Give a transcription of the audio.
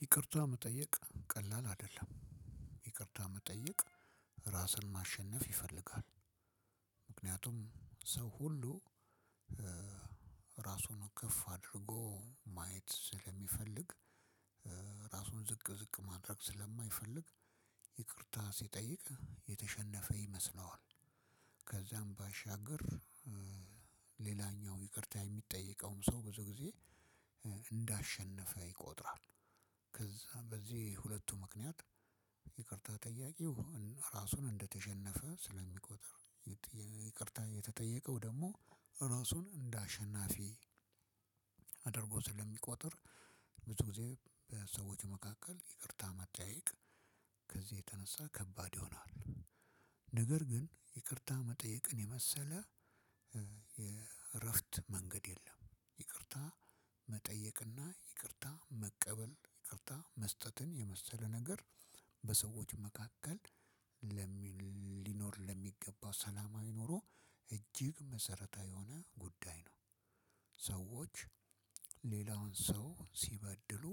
ይቅርታ መጠየቅ ቀላል አደለም ይቅርታ መጠየቅ ራስን ማሸነፍ ይፈልጋል። ምክንያቱም ሰው ሁሉ ራሱን ከፍ አድርጎ ማየት ስለሚፈልግ ራሱን ዝቅ ዝቅ ማድረግ ስለማይፈልግ ይቅርታ ሲጠይቅ የተሸነፈ ይመስለዋል። ከዛም ባሻገር ሌላኛው ይቅርታ የሚጠየቀውም ሰው ብዙ ጊዜ እንዳሸነፈ ይቆጥራል። ከዛ በዚህ ሁለቱ ምክንያት ይቅርታ ጠያቂው ራሱን እንደተሸነፈ ስለሚቆጠር ይቅርታ የተጠየቀው ደሞ ራሱን እንደ አሸናፊ አድርጎ ስለሚቆጥር ብዙ ጊዜ በሰዎች መካከል ይቅርታ መጠየቅ የተነሳ ከባድ ይሆናል። ነገር ግን ይቅርታ መጠየቅን የመሰለ የእረፍት መንገድ የለም። ይቅርታ መጠየቅና ይቅርታ መቀበል ይቅርታ መስጠትን የመሰለ ነገር በሰዎች መካከል ለሚል ሊኖር ለሚገባው ሰላማዊ ኖሮ እጅግ መሰረታዊ የሆነ ጉዳይ ነው። ሰዎች ሌላውን ሰው ሲበድሉ